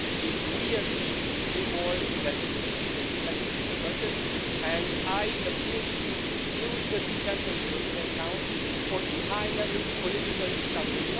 If we agree to do more, then this needs to be reflected in the budget and I appeal to Minister Tuppurainen to use the December European Council for a high level political discussion